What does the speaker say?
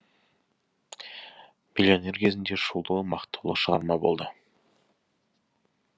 миллионер кезінде шулы мақтаулы шығарма болды